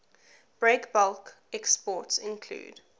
breakbulk exports include